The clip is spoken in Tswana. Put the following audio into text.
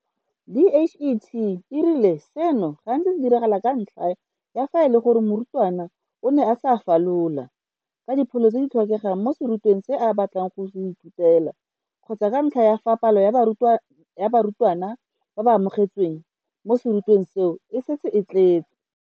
DHET e rile seno gantsi se diragala ka ntlha ya fa e le gore morutwana o ne a sa falola ka dipholo tse di tlhokegang mo serutweng se a batlang go se ithutela kgotsa ka ntlha ya fa palo ya barutwana ba ba amogetsweng mo serutweng seo e setse e tletse.